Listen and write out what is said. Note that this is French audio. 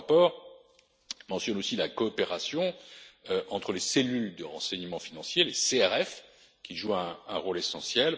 Votre rapport mentionne aussi la coopération entre les cellules de renseignement financier qui jouent un rôle essentiel.